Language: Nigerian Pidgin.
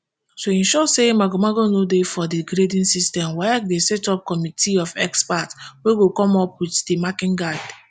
to ensure say magomago no dey for di grading system waec dey set up committee of experts wey go come up wit di marking guide